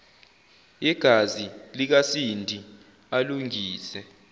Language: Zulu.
yegazi likasindi alungise